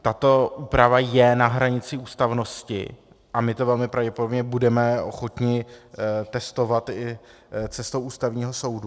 Tato úprava je na hranici ústavnosti a my to velmi pravděpodobně budeme ochotni testovat i cestou Ústavního soudu.